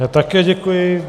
Já také děkuji.